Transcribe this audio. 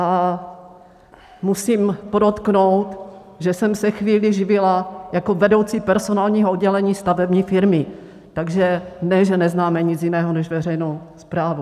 A musím podotknout, že jsem se chvíli živila jako vedoucí personálního oddělení stavební firmy, takže ne, že neznáme nic jiného než veřejnou správu.